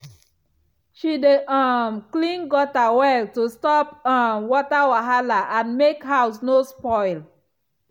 she dey um clean gutter well to stop um water wahala and make house no spoil.